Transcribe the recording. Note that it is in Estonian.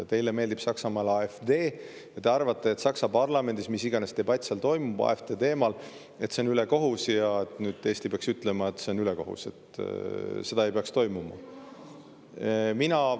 Teile meeldib Saksamaa AfD ja arvate, et Saksa parlamendis, mis iganes debatt seal toimub AfD teemal, ülekohus ja Eesti peaks ütlema, et see on ülekohus ja seda ei peaks toimuma.